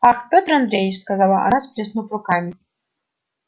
ах пётр андреич сказала она сплеснув руками